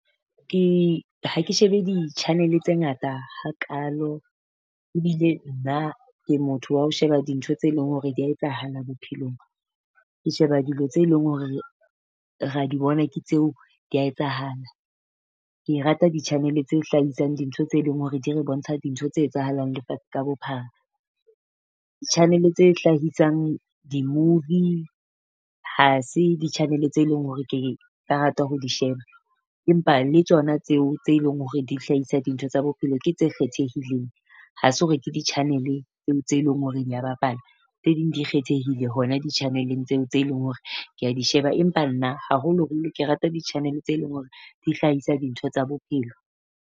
Ke ha ke shebe di-channel-e tse ngata hakalo, ebile nna ke motho wa ho sheba di ntho tse leng hore dia etsahala bophelong. Ke sheba dilo tse leng hore ra di bona ke tseo dia etsahala. Ke rata ditjhanele tse hlahisang dintho tse leng hore di re bontsha dintho tse etsahalang lefatshe ka bophara. Di-channel-e tse hlahisang di-movie ha se di-channel-e tse leng hore ke ka rata ho di sheba, empa le tsona tseo tse leng hore di hlahisa dintho tsa bophelo ke tse kgethehileng. Ha se hore ke di-channel tse leng hore dia bapala, tse ding di kgethehile hona di-channel-eng tseo tse leng hore ke di sheba. Empa nna haholoholo ke rata di channel tse leng hore di hlahisa dintho tsa bophelo.